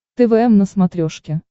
твм на смотрешке